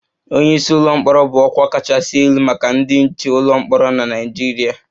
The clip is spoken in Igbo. Onye isi ụlọ mkpọrọ bụ ọkwa kachasị elu maka ndị nche ụlọ mkpọrọ na Nigeria